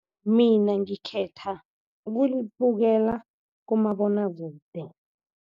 Mina ngikhetha ukulibukela kumabonwakude.